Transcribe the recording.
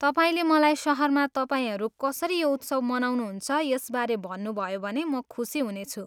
तपाईँले मलाई सहरमा तपाईँहरू कसरी यो उत्सव मनाउनुहुन्छ यसबारे भन्नुभयो भने म खुसी हुनेछु।